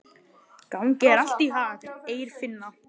Gangi þér allt í haginn, Eirfinna.